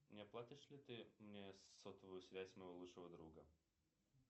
не оплатишь ли ты мне сотовую связь моего лучшего друга